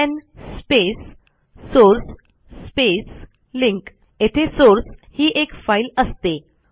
LN space source space link येथे source ही एक फाईल असते